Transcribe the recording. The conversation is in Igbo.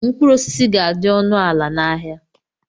Mkpụrụ osisi ga-adị ọnụ ala n'ahịa.